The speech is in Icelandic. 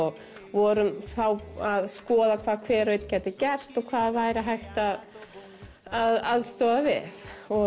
vorum þá að skoða hvað hver og einn gæti gert og hvað væri hægt að að aðstoða við